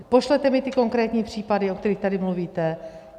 Pošlete mi ty konkrétní případy, o kterých tady mluvíte.